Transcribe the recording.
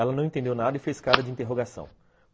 Ela não entendeu nada e fez cara de interrogação.